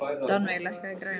Rannveig, lækkaðu í græjunum.